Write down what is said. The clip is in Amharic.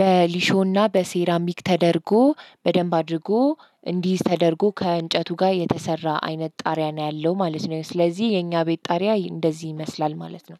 በሊሾና በሴራሚክ ተደርጎ በደንብ አድርጎ እንዲይዝ ተደርጎ ከእንጨቱ ጋር የተሰራ አይነት ጣሪያ ነው ያለው ማለት ነው። ስለዚህ የኛ ቤት ጣሪያ እንደዚህ ይመስላል ማለት ነው።